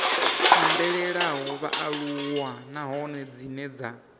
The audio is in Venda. ambelaho vhaaluwa nahone dzine dza